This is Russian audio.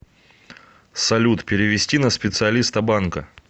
салют перевести на специалиста банка